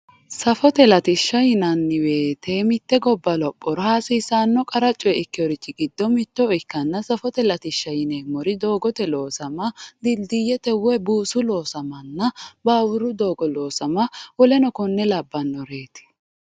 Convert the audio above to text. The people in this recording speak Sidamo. Safote latishi yinani woyite mite goba lopora hasisano qara coye ikeworichi gido mito ikana safote latisha yinemori dogote losama dilidiyete woy busu losamana bawuru dogo losama woluri kore lawareti